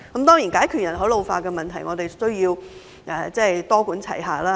當然，要解決人口老化問題，我們需要多管齊下。